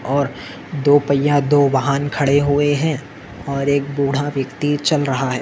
और दो पय्या दो वाहन खड़े हुए है और एक बुढा व्यक्ति चल रहा है।